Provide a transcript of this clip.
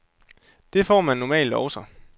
Det får man normalt også.